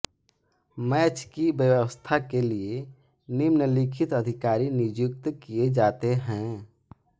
match की व्यवस्था के लिए निम्नलिखित अधिकारी नियुक्त किए जाते हैं